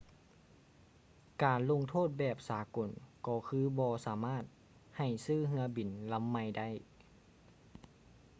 ການລົງໂທດແບບສາກົນກໍຄືບໍ່ສາມາດໃຫ້ຊື້ເຮືອບິນລຳໃໝ່ໄດ້